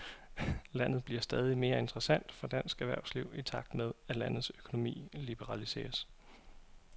Landet bliver stadig mere interessant for dansk erhvervsliv i takt med, at landets økonomi liberaliseres.